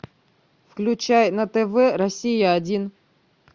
включай на тв россия один